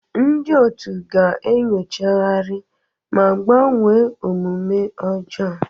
Ndị otu ga-enyochagharị ma gbanwee omume ọjọọ.